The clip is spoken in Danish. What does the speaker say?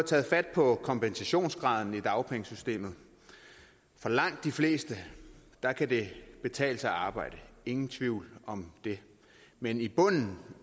taget fat på kompensationsgraden i dagpengesystemet for langt de fleste kan det betale sig at arbejde ingen tvivl om det men i bunden